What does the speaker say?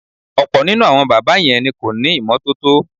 Ò̩pò̩ nínú àwo̩n bábà ye̩n ni kò ní ìmó̩tótó.